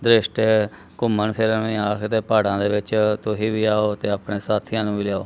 ਰਿਸ਼ਤੇ ਘੁੰਮਣ ਫਿਰਦੇ ਆਖ ਦੇ ਤੇ ਪਹਾੜਾਂ ਦੇ ਵਿੱਚ ਤੁਸੀਂ ਵੀ ਆਓ ਤੇ ਆਪਣੇ ਸਾਥੀਆਂ ਨੂੰ ਵੀ ਲਿਆਯੋ